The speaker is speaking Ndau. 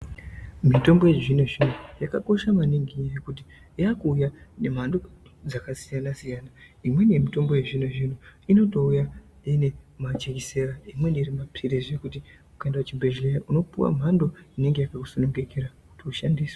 Mitombo yezvino-zvino yakakosha maningi ngekuti yakuuya nemhando dzakasiyana-siyana. Imweni mitombo yezvino-zvino inotouya ine majekiseni, imweni iri mapirizi zvekuti ukaenda kuchibhedhlera unopiwa mhando inenge yakaku sunungukira kuti ushandise.